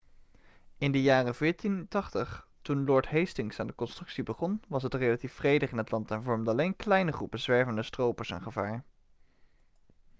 in de jaren 1480 toen lord hastings aan de constructie begon was het relatief vredig in het land en vormden alleen kleine groepen zwervende stropers een gevaar